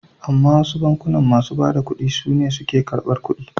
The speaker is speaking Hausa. Amma wasu bankunan masu bada ƙuɗi sune suke ƙarbar ƙuɗi.